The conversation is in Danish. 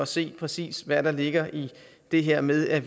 se præcis hvad der ligger i det her med at